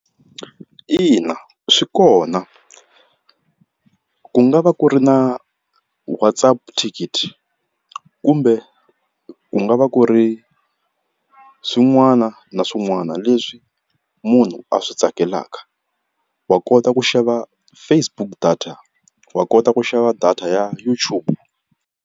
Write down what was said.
Ina swi kona ku nga va ku ri na Whatsapp ticket kumbe ku nga va ku ri swin'wana na swin'wana leswi munhu a swi tsakelaka wa kota ku xava Facebook data wa kota ku xava data ya YouTube.